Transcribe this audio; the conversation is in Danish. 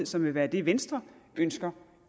som vil være det venstre ønsker